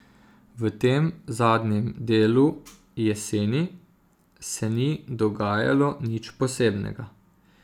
V tem zadnjem delu, jeseni, se ni dogajalo nič posebnega.